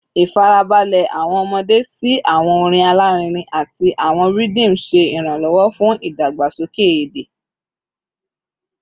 Ifarabalẹ awọn ọmọde si awọn orin alarinrin ati awọn rhythm ṣe iranlọwọ fun idagbasoke ede